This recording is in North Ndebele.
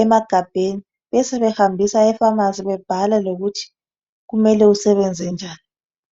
emagabheni besebehambisa ephamarcy bebhala lokuthi kumele usebenzise njani